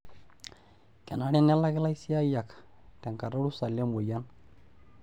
Kenare nelaki laisiyiak tenkata orusa lemoyian.